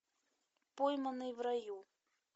пойманный в раю